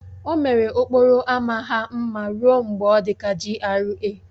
O mere okporo ámá ha mma ruo mgbe ọ dị ka GRA